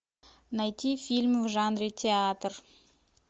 найти фильмы в жанре театр